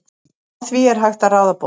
Á því er hægt að ráða bót.